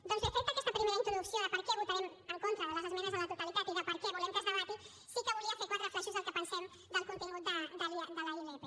doncs bé feta aquesta primera introducció de per què votarem en contra de les esmenes a la totalitat i de per què volem que es debati sí que volia fer quatre flaixos del que pensem del contingut de la ilp